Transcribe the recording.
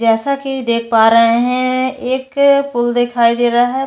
जैसा की देख पा रहे है एक पूल देखाई दे रहा है।